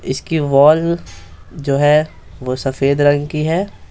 इसकी वॉल जो है वो सफेद रंग की है।